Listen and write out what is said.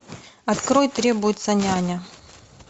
открой требуется няня